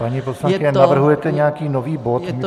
Paní poslankyně, navrhujete nějaký nový bod?